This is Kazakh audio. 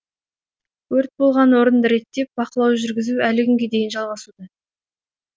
өрт болған орынды реттеп бақылау жүргізу әлі күнге дейін жалғасуда